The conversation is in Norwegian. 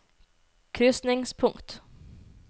krysningspunkt